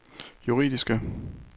juridiske